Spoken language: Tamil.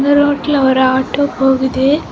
இந்த ரோட்ல ஒரு ஆட்டோ போகுது.